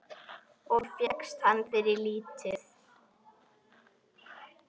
Og fékkst hana fyrir lítið!